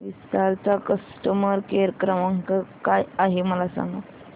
विस्तार चा customer care क्रमांक काय आहे मला सांगा